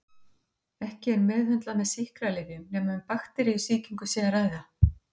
Ekki er meðhöndlað með sýklalyfjum nema um bakteríusýkingu sé að ræða.